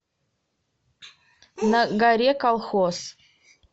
на горе колхоз